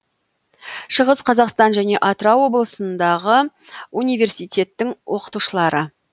шығыс қазақстан және атырау облысындағы университеттің оқытушылары